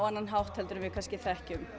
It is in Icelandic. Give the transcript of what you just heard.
annan hátt en við þekkjum